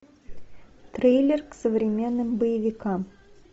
трейлер к современным боевикам